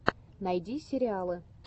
найди сериалы